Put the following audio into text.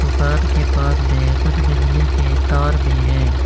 दुकान के पास में कुछ बिजली के तार भी हैं।